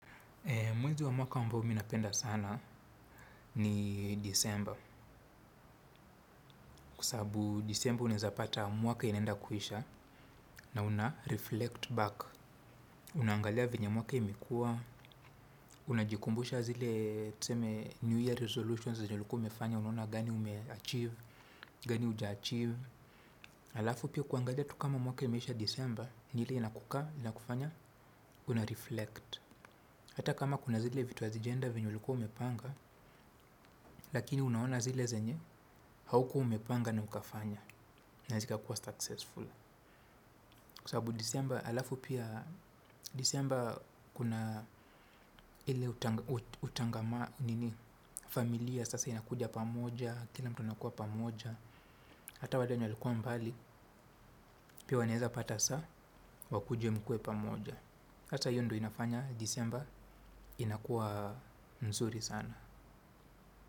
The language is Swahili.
Mwezi wa mwaka ambao mimi napenda sana ni disemba, kwa sababu disemba unaezapata mwaka inaenda kuisha na unareflect back. Unaangalia venye mwaka imekua, unajikumbusha zile tuseme new year resolutions zenye umefanya unaona gani umeachieve, gani huja achieve. Alafu pia kuangalia tu kama mwaka imesha disemba, nile inakukaa, inakufanya, unareflect. Hata kama kuna zile vitu hazijenda venye ulikuwa umepanga, lakini unaona zile zenye, haukuwa umepanga na ukafanya na zikakuwa successful. Kwa sababu disemba, alafu pia disemba kuna ile familia, sasa inakuja pamoja, kila mtu anakuwa pamoja. Hata wale wenye walikuwa mbali, pia wanaeza pata saa, wakuje mkuwe pamoja. Hata hii ndo inafanya disemba, inakuwa nzuri sana.